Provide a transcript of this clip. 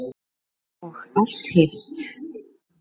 Og allt hitt.